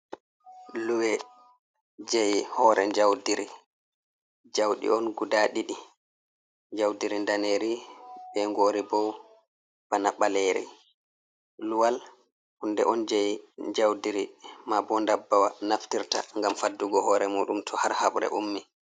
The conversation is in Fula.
Luwe je hore jaudiri jauɗi on guda ɗiɗi jaudiri daneri be ngori bo bana ɓaleri luwal hunde on jei jaudiri ma bo dabbawa naftirta ngam faddugo hore muɗum to har habre ummi.